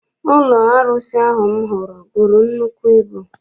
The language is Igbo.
Ụlọ arụsị ahụ m hụrụ buru nnukwu ibu.